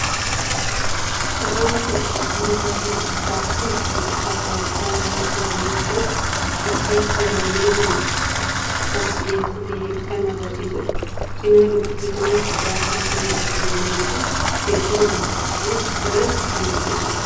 Suuraan kun dubartii bakka tokko taa'uun wantoota addaa addaa nyaataa mi'eessuuf itti tajaajilamnu gurgurtaaf dhiyeessite kan agarsiisuudha. Cina dubartii kanaattis jaarsaa fi ijoolleewwan hedduun akka taa'aa jiran kan mul'isuu dha.